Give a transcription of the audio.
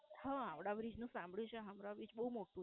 હા, હાવડા Bridge નું સાંભળ્યું છે હાવડા Bridge બવ મોટું